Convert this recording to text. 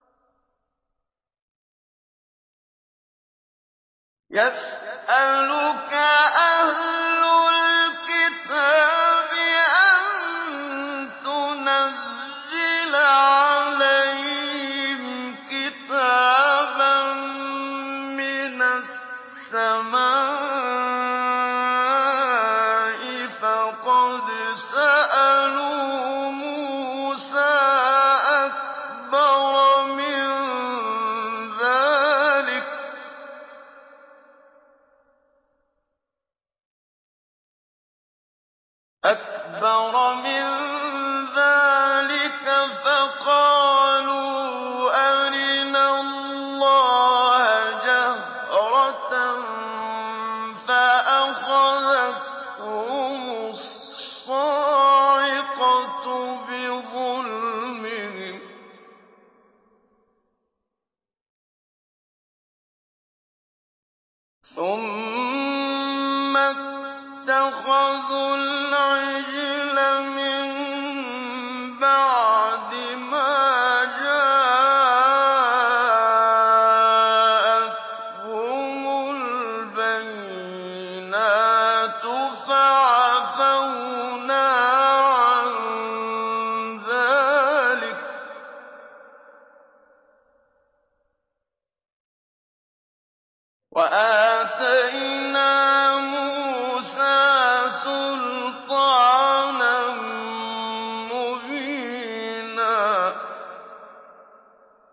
يَسْأَلُكَ أَهْلُ الْكِتَابِ أَن تُنَزِّلَ عَلَيْهِمْ كِتَابًا مِّنَ السَّمَاءِ ۚ فَقَدْ سَأَلُوا مُوسَىٰ أَكْبَرَ مِن ذَٰلِكَ فَقَالُوا أَرِنَا اللَّهَ جَهْرَةً فَأَخَذَتْهُمُ الصَّاعِقَةُ بِظُلْمِهِمْ ۚ ثُمَّ اتَّخَذُوا الْعِجْلَ مِن بَعْدِ مَا جَاءَتْهُمُ الْبَيِّنَاتُ فَعَفَوْنَا عَن ذَٰلِكَ ۚ وَآتَيْنَا مُوسَىٰ سُلْطَانًا مُّبِينًا